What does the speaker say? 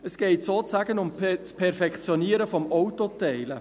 Es geht sozusagen um das Perfektionieren des Autoteilens.